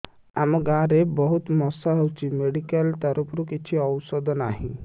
ଆମ ଗାଁ ରେ ବହୁତ ମଶା ହଉଚି ମେଡିକାଲ ତରଫରୁ କିଛି ଔଷଧ ନାହିଁ